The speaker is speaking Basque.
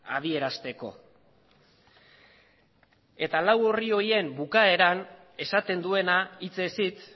adierazteko eta lau orri horien bukaeran esaten duena hitzez hitz